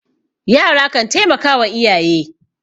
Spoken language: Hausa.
yara kan taimaka wa iyaye